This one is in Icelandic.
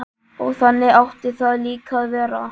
Og þannig átti það líka að vera.